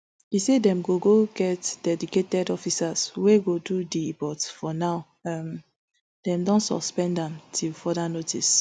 e say dem go get dedicated officers wey go do di but for now um dem don suspend am till further notice